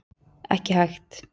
Ekki hægt